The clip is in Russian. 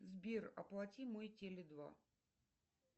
сбер оплати мой теле два